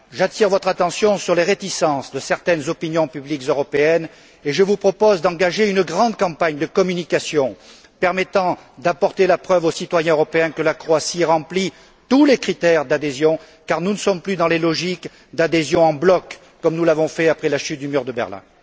J'attire votre attention sur les réticences de certaines opinions publiques européennes et je vous propose d'engager une grande campagne de communication, permettant d'apporter la preuve aux citoyens européens que la Croatie remplit tous les critères d'adhésion, car nous ne sommes plus dans les logiques d'adhésion en bloc comme après la chute du mur de Berlin.